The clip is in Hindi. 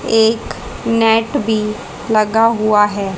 एक नेट भी लगा हुआ है।